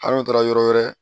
Hal'o taara yɔrɔ wɛrɛ